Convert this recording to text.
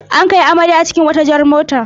An kai amarya cikin wata jar mota.